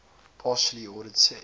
partially ordered set